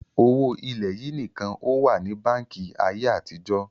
Owó ilẹ̀ yìí nìkan ó wà ní báńkì ayé àtijọ́